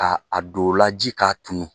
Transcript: Ka a don o la ji k'a tunu